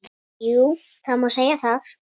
Jú, það má segja það.